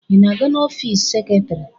Ị na-aga n'ọfiisi seketrị?